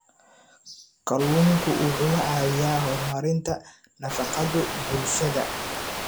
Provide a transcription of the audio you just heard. Kalluunku wuxuu caawiyaa horumarinta nafaqada bulshada.